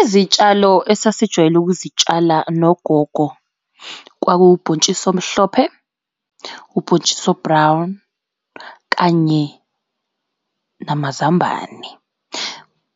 Izitshalo esasijwayele ukuzitshala nogogo kwakubhontshisi omhlophe, ubhontshisi o-brown kanye namazambane.